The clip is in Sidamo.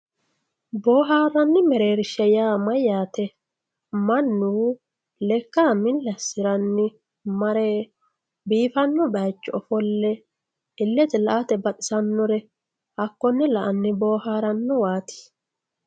Booharanni mereerrisha yaa mayate, manu lekka mili asiranni marre biifano bayicho offolle illete la'ate baxxisanore hakone la'anni booharanowati